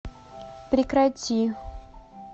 прекрати